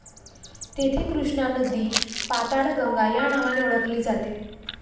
तेथे कृष्णा नदी पाताळगंगा या नावाने ओळखली जाते.